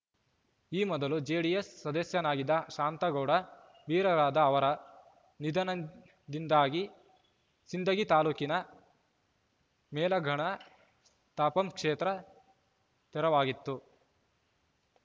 ಈ ಮೊದಲು ಜೆಡಿಎಸ್‌ ಸದಸ್ಯನಾಗಿದ್ದ ಶಾಂತಗೌಡ ಬಿರಾದಾರ ಅವರ ನಿಧನದಿಂದಾಗಿ ಸಿಂದಗಿ ತಾಲೂಕಿನ ಮೇಲಘಾಣ ತಾಪಂ ಕ್ಷೇತ್ರ ತೆರವಾಗಿತ್ತು